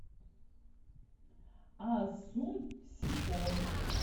асунсьон